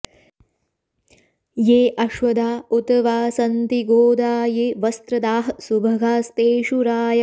ये अ॑श्व॒दा उ॒त वा॒ सन्ति॑ गो॒दा ये व॑स्त्र॒दाः सु॒भगा॒स्तेषु॒ रायः॑